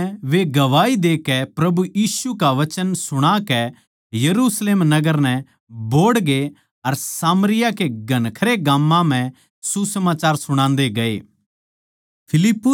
आखर म्ह वे गवाही देकै प्रभु यीशु का वचन सुणाकै यरुशलेम नगर नै बोहड़गे अर सामरिया के घणखरे गाम्मां म्ह सुसमाचार सुणान्दे गये